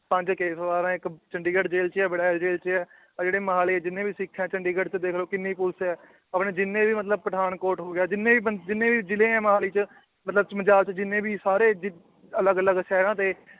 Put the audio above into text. ਪੰਜ ਇੱਕ ਚੰਡੀਗੜ੍ਹ ਜੇਲ੍ਹ 'ਚ ਵੜੈਲ ਜੇਲ੍ਹ 'ਚ ਹੈ, ਆਹ ਜਿਹੜੇ ਮੋਹਾਲੀ ਜਿੰਨੇ ਵੀ ਸਿੱਖ ਹੈ ਚੰਡੀਗੜ੍ਹ 'ਚ ਦੇਖ ਲਓ ਕਿੰਨੀ ਪੁਲਿਸ ਹੈ ਆਪਣੇ ਜਿੰਨੇ ਵੀ ਮਤਲਬ ਪਠਾਨਕੋਟ ਹੋ ਗਿਆ ਜਿੰਨੇ ਵੀ ਬੰਦ~ ਜਿੰਨੇ ਵੀ ਜਿਲ੍ਹੇ ਹੈ ਮੋਹਾਲੀ 'ਚ ਮਤਲਬ ਜਿੰਨੇ ਵੀ ਸਾਰੇ ਜਿ~ ਅਲੱਗ ਅਲੱਗ ਸ਼ਹਿਰਾਂ ਦੇ